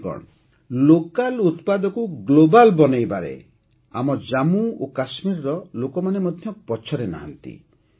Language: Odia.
ସାଥିଗଣ ଲୋକାଲ ଉତ୍ପାଦକୁ ଗ୍ଲୋବାଲ ବନେଇବାରେ ଆମ ଜାମ୍ମୁ କାଶ୍ମୀରର ଲୋକମାନେ ମଧ୍ୟ ପଛରେ ନାହାଁନ୍ତି